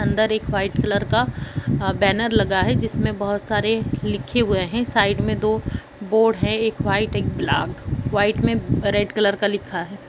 अंदर एक white colour का बैनर लगा है। जिसमें बहुत सारे लिखे हुए है साइड मे दो बोर्ड है एक वाइट एक ब्लैंक वाइट में रेड कलर का लिखा है